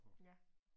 Ja